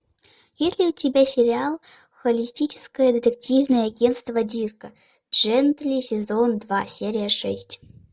есть ли у тебя серил холистическое детективное агентство дирка джентли сезон два серия шесть